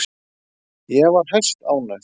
Ég var hæstánægð.